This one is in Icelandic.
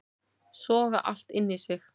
Soga allt inn í sig